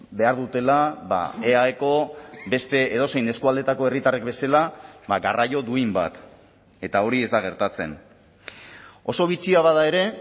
behar dutela eaeko beste edozein eskualdeetako herritarrek bezala garraio duin bat eta hori ez da gertatzen oso bitxia bada ere